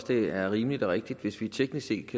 det ville være rimeligt og rigtigt hvis vi teknisk set